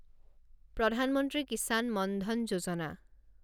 প্ৰধান মন্ত্ৰী কিছান মন ধন যোজনা